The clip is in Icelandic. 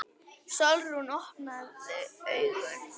Sólrún, opnaðu augun!